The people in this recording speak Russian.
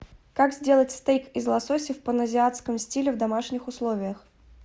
как сделать стейк из лосося в паназиатском стиле в домашних условиях